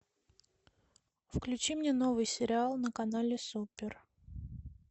включи мне новый сериал на канале супер